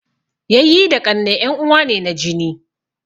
Yayyi da ƙannai en uwa ne na jini